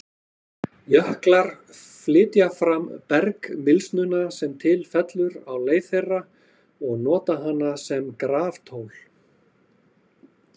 Jöklar flytja fram bergmylsnuna sem til fellur á leið þeirra og nota hana sem graftól.